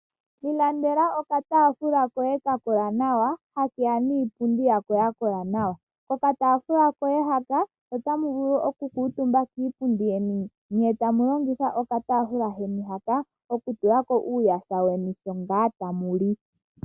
Ilandela okataafula koye ka kola nawa, hakeya niipundi yako ya kola nawa. Okataafula koya hoka otamu vulu oku kuutumba kiipundi yeni nye tamu longitha okataafula keni hoka okutenteka po uuyaha weni sho ngaa tamu li.